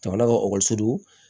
Jamana ka ekɔliso